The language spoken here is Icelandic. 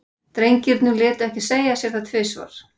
Drengirnir létu ekki segja sér það tvisvar.